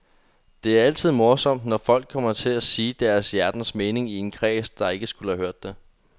Det er altid morsomt, når folk kommer til at sige deres hjertens mening i en kreds, der ikke skulle have hørt det.